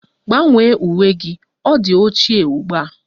Gbanwee uwe gị! Ọ di ochie ugbua